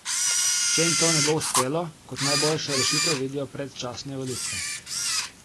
Če jim to ne bo uspelo, kot najboljšo rešitev vidijo predčasne volitve.